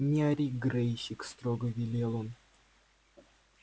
не ори грэйсик строго велел он